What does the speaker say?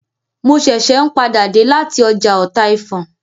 Mo ṣẹ̀ṣẹ̀ n padà dé lati ọjà ọtaifọn